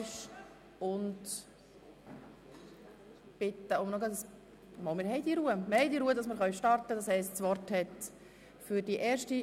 Wir sind bei der Revision des Polizeigesetzes (PolG) bei der gemeinsamen Beratung der Artikel 75–78 verblieben.